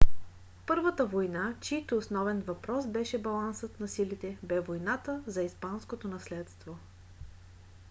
първата война чийто основен въпрос беше балансът на силите бе войната за испанското наследство